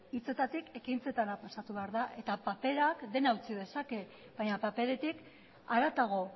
hitzetatik ekintzetara pasatu behar da eta paperak dena eutsi dezake baina paperetik haratago